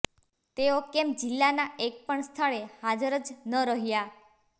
તેઓ કેમ જિલ્લાના એક પણ સ્થળે હાજર જ ન રહ્યા